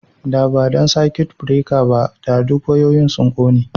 Da ba dan circuit breaker ba, da duk wayoyin sun kone